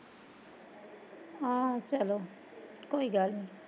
ਹਾਂ ਚਲੋ ਕੋਈ ਗਲ ਨੀ